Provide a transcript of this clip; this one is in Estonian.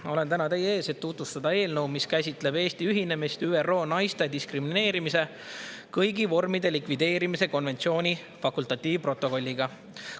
Ma olen täna teie ees, et tutvustada eelnõu, mis käsitleb Eesti ühinemist ÜRO naiste diskrimineerimise kõigi vormide likvideerimise konventsiooni fakultatiivprotokolliga.